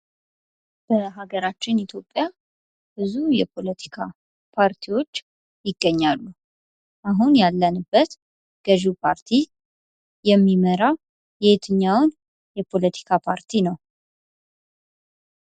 በሀገራችን ኢትዮጵያ ብዙ የፖለቲካ ፓርቲዎች ይገኛሉ ። አሁን ያለንበት ገዢው ፓርቲ የሚመራ የየትኛውን የፖለቲካ ፓርቲ ነው ?